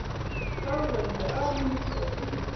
Þá verðum við alein í kotinu.